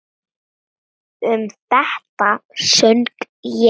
Um þetta söng ég: